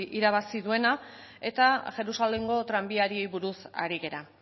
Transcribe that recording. irabazi duena eta jerusalengo tranbiari buruz ari gara